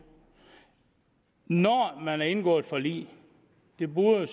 når man har indgået et forlig det burde